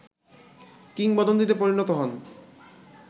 কিংবদন্তীতে পরিণত হন